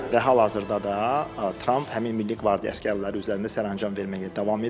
Və hal-hazırda da Tramp həmin Milli Qvardiya əsgərləri üzərində sərəncam verməyə davam edir.